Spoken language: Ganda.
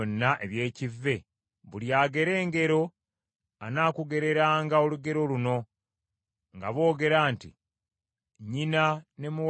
“ ‘Buli agera engero anaakugereranga olugero luno nga boogera nti, “Nnyina ne muwala we batyo.”